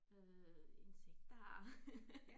Øh insekter